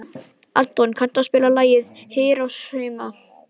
Anton, kanntu að spila lagið „Hiroshima“?